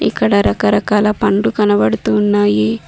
ఇక్కడ రకరకాల పండ్లు కనబడుతు ఉన్నాయి.